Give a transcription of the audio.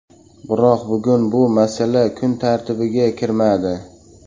Biroq bugun bu masala kun tartibiga kirmadi.